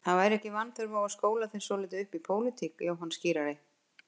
Það væri ekki vanþörf á að skóla þig svolítið í pólitík, Jóhann skírari.